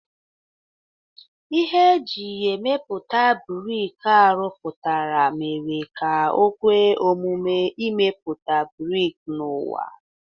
Ihe e ji emepụta brik a rụpụtara mere ka o kwe omume imepụta brik n'ụba.